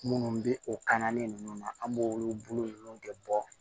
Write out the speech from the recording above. Munnu be o kan na nunnu na an b'olu bolo nunnu de bɔ